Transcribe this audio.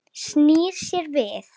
Snýr sér við.